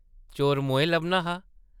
चोर मोएं लब्भना हा !